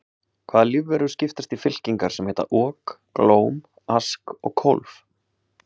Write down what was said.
Hvaða lífverur skiptast í fylkingar sem heita ok, glóm, ask og kólf?